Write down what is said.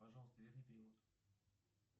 пожалуйста верни перевод